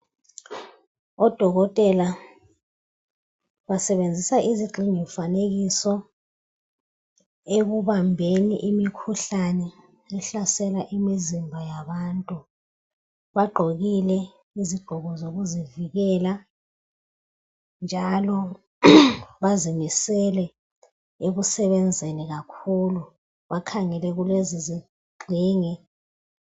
Odokotela basebenzisa izigxingi mfanekiso ekubambeni imikhuhlani ehlasela imizimba yabantu. Bagqokile izigqoko zokuzivikela njalo bazimisele ekusebenzeni kakhulu, bakhangele kulezizigxingi.